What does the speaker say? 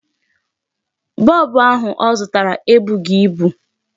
Bulb ahụ ọ zụtara ebughị ibu.